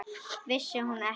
Vissi hún ekki?